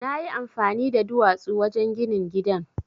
Na yi amfani da duwatsu wajen ginin gidan.